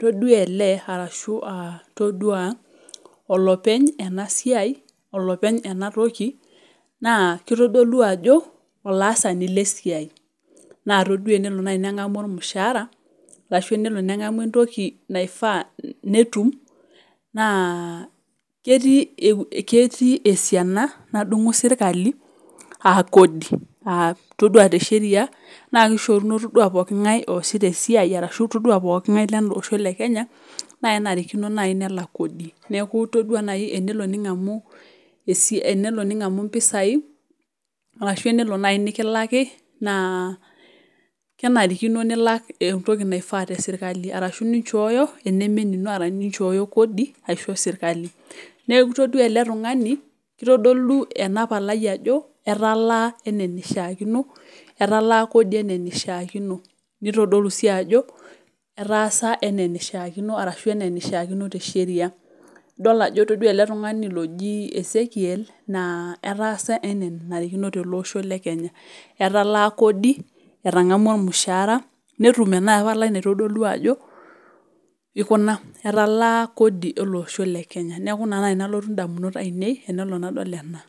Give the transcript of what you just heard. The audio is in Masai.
toduaa ele arashu aah toduaa olopeny enasiai, olopeny enatoki naa keitodolu ajo olaasani lesiai naa toduaa enelo nai neng'amu olmushaara ashu nelo neng'amu entoki naifaa netum naa ketii eh ketii esiana nadung'u sirkali [aa] kodi. Ah todua te  sheria naakeishoruno toduaa pooking'ai oasita esiai arashu toduaa pooking'ai leleosho le Kenya nakenarikino nai nelak kodi. Neaku toduaa nai enelo ning'amu esia enelo ning'amu mpisai arashu enelo nai nikilaki naa kenarikino nilak entoki naifaa te  sirkali arashu ninchooyo enemenino arashu ninchooyo kodi aisho  sirkali. Neaku itoduaa ele tung'ani keitodolu enapalai ajo etalaa eneneishaakino, etalaa kodi eneneishaakino. Neitodolu sii ajo etaasa eneneishaakino arashu eneneishaakino te sheria. Idol ajo toduaa ele tung'ani lojii Esekiel naa etaasa enaa enanarikino teleosho le Kenya. Etalaa kodi, etang'amua olmushaara, netum ena palai naitodolu ajo eikuna etalaa kodi eleosho le kenya. Neaku ina nai nalotu indamunot ainei tenelo nadol ena.